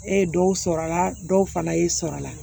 E ye dɔw sɔrɔ a la dɔw fana y'i sɔrɔ a la